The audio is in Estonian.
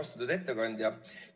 Austatud ettekandja!